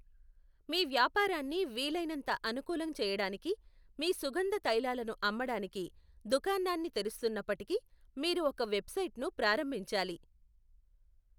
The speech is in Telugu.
మీ వ్యాపారాన్ని వీలైనంత అనుకూలం చేయడానికి, మీ సుగంధ తైలాలను అమ్మడానికి దుకాణాన్ని తెరుస్తున్నప్పటికీ మీరు ఒక వెబ్సైట్ను ప్రారంభించాలి.